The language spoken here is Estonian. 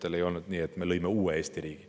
Siis ei olnud nii, et me oleksime loonud uue Eesti riigi.